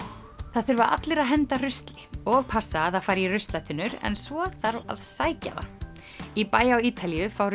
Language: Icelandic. það þurfa allir að henda rusli og passa að það fari í ruslatunnur en svo þarf að sækja það í bæ á Ítalíu fá